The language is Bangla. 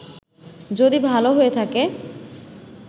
যদি ভালো হয়ে থাকে